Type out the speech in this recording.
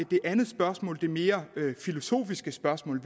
det andet spørgsmål det mere filosofiske spørgsmål